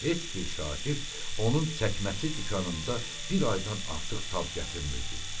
Heç bir şagird onun çəkməçi dükanında bir aydan artıq tab gətirmirdi.